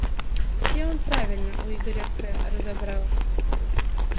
все он правильно у игоря к разобрал